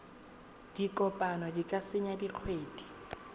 dikopo di ka tsaya dikgwedi